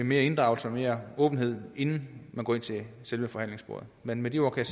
mere inddragelse og mere åbenhed inden man går ind til forhandlingsbordet med med de ord kan